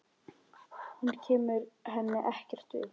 Hann kemur henni ekkert við.